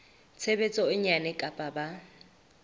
tshebetso e nyane kapa ba